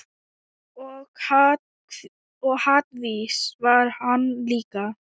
Og hvatvís var hann líka.